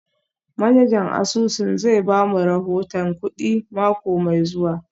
Manajan asusun zai ba mu rahoton kudi mako mai zuwa